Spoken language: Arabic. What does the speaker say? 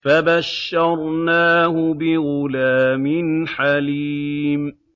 فَبَشَّرْنَاهُ بِغُلَامٍ حَلِيمٍ